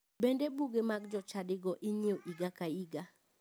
Bende buge mag chadigo inyiewo higa ka higa.